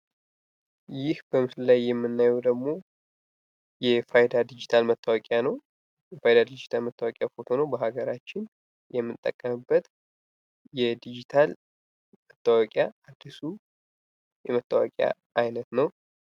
ይህ በምስሉ ላይ የምናየው ደግሞ የፋይዳ ድጅታል መታወቂያ ነው። የፋይዳ ድጅታል መታወቂያ ፎቶ ነው። በሀገራችን የምንጠቀምበት የድጅታል መታወቂያ አዲሱ የመታወቂያ አይነት ነው።